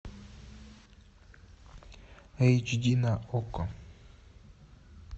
эйч ди на окко